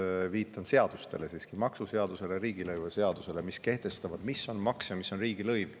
Ma viitan siiski seadustele: maksuseadusele, riigilõivuseadusele, mis kehtestavad, mis on maks ja mis on riigilõiv.